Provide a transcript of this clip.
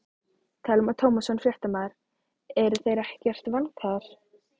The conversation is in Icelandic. Telma Tómasson, fréttamaður: Eru þeir ekkert vankaðir?